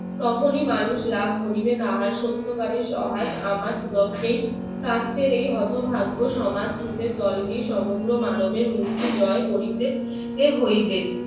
তখনই মানুষ লাভ করিবে তাহার সত্য আমার বিবেককে শাস্ত্রের এই হতভাগ্য তোমার বিজয় করিতে হইবে